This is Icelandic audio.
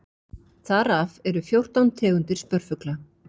þar af eru fjórtán tegundir spörfugla